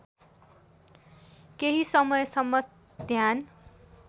केही समयसम्म ध्यान